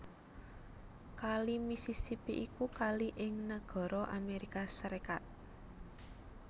Kali Mississippi iku kali di nagara Amérika Sarékat